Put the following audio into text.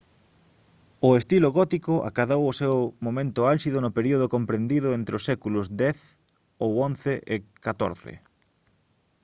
o estilo gótico acadou o seu momento álxido no período comprendido entre os séculos x ou xi e o xiv